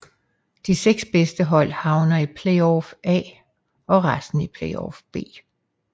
De 6 bedste hold havner i Playoff A og resten i Playoff B